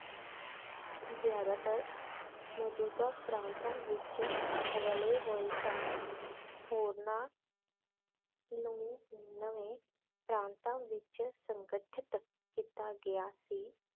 ਜਯਾਦਾਤਰ ਮੌਜੂਦਾ ਪ੍ਰਾਂਤਾਂ ਵਿਚ ਰਲੇ ਹੋਏ ਸਨ ਹੋਰਨਾਂ ਨੂੰ ਨਵੇਂ ਪ੍ਰਾਂਤਾਂ ਵਿਚ ਸੰਗਠਿਤ ਕੀਤਾ ਗਿਆ ਸੀ